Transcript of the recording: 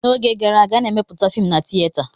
N'oge gara aga, a na-emeputa fiim na tieta.